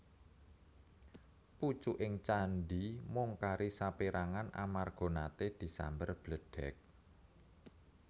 Pucuking candhi mung kari saperangan amarga nate disamber bledheg